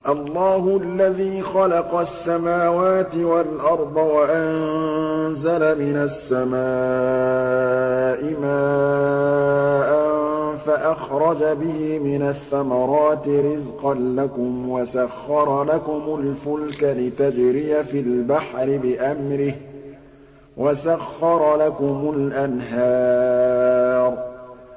اللَّهُ الَّذِي خَلَقَ السَّمَاوَاتِ وَالْأَرْضَ وَأَنزَلَ مِنَ السَّمَاءِ مَاءً فَأَخْرَجَ بِهِ مِنَ الثَّمَرَاتِ رِزْقًا لَّكُمْ ۖ وَسَخَّرَ لَكُمُ الْفُلْكَ لِتَجْرِيَ فِي الْبَحْرِ بِأَمْرِهِ ۖ وَسَخَّرَ لَكُمُ الْأَنْهَارَ